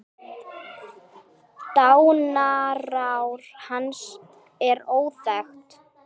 Dánarár hans er óþekkt.